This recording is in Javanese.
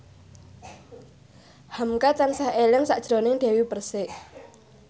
hamka tansah eling sakjroning Dewi Persik